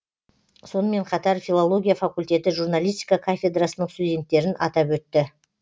сонымен қатар филология факультеті журналистика кафедрасының студенттерін атап өтті